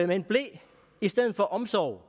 med en ble i stedet for omsorg